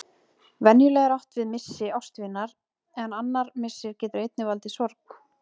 Venjulega er átt við missi ástvinar en annar missir getur einnig valdið sorg.